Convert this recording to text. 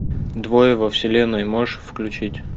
двое во вселенной можешь включить